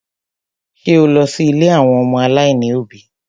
Ṣé o lọ sí ilé àwọn ọmọ aláìní òbí?